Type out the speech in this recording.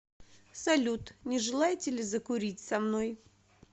салют не желаете ли закурить со мной